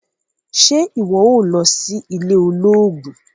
Ṣe iwọ óò lọ sí ilé olóògùn?